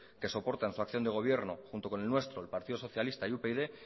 que soporta en su acción de gobierno junto con el nuestro el partido socialista y upyd